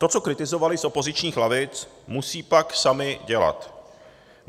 To, co kritizovali z opozičních lavic, musí pak sami dělat.